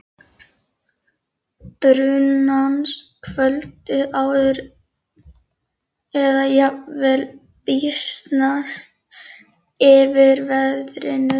brunans kvöldið áður eða jafnvel býsnast yfir veðrinu.